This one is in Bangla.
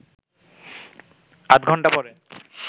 আধঘন্টা পরে